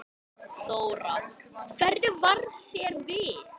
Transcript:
Þóra: Hvernig varð þér við?